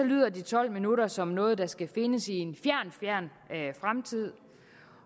lyder de tolv minutter som noget der skal findes i en fjern fjern fremtid